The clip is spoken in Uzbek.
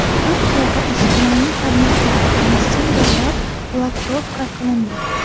Turkiyada ijtimoiy tarmoqlar va messenjerlar blokirovka qilindi.